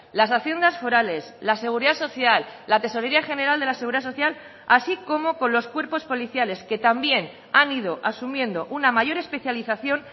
las haciendas forales la seguridad social la tesorería general de la seguridad social así como con los cuerpos policiales que también han ido asumiendo una mayor especialización